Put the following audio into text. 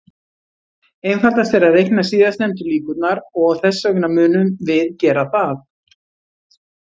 Einfaldast er að reikna síðastnefndu líkurnar, og þess vegna munum við gera það.